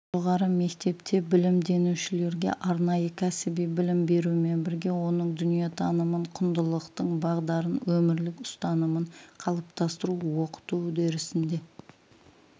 жоғары мектепте білімденушілерге арнайы кәсіби білім берумен бірге оның дүниетанымын құндылықтың бағдарын өмірлік ұстанымын қалыптастыру оқыту үдерісінде